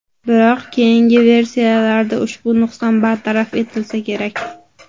Biroq, keyingi versiyalarda ushbu nuqson bartaraf etilsa kerak.